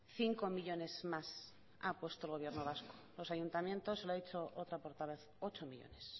cinco millónes más ha puesto el gobierno vasco los ayuntamientos lo ha dicho otra portavoz ocho millónes